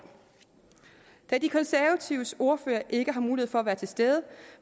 da de konservatives ordfører ikke har mulighed for at være til stede